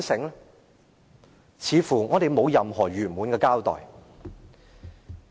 我們似乎得不到任何圓滿的交代。